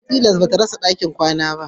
Tilas ba ta rasa dakin kwana